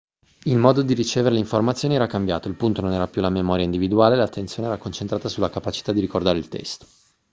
il modo di ricevere le informazioni era cambiato il punto non era più la memoria individuale l'attenzione era concentrata sulla capacità di ricordare il testo